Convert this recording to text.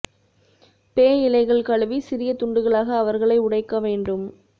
பே இலைகள் கழுவி சிறிய துண்டுகளாக அவர்களை உடைக்க வேண்டும்